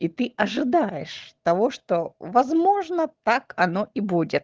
и ты ожидаешь того что возможно так оно и будет